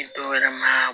dɔwɛrɛ ma